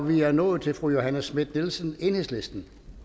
vi er nået til fru johanne schmidt nielsen enhedslisten